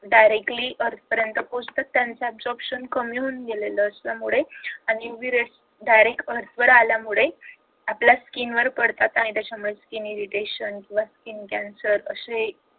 directly earth पर्यंत पोचतात त्यांचं absorption कमी होऊन गेलेलं त्याच्यामुळे आणि उभी रेष direct earth वर आल्यामुळे आपल्या skin वर पडतात आणि त्याच्यामुळे skin irritation किंवा skin cancer असे